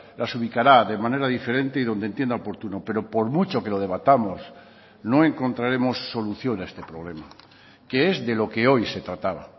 las ubicará de manera diferente y donde entienda oportuno pero por mucho que lo debatamos no encontraremos solución a este problema que es de lo que hoy se trataba